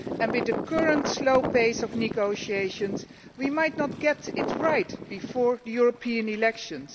With the current slow pace of negotiations we might not get it right before the European elections.